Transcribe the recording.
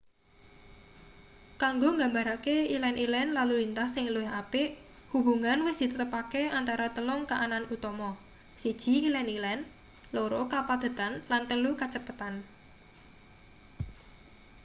kanggo nggambarake ilen-ilen lalu lintas sing luwih apik hubungan wis ditetepake antarane telung kaanan utama: 1 ilen-ilen 2 kapadhetan lan 3 kacepetan